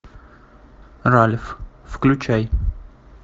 ральф включай